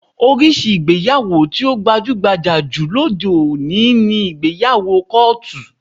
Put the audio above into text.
Oríṣi ìgbéyàwó tí ó gbajú-gbajà jù lóde òní ni ìgbéyàwó kọ́ọ̀tù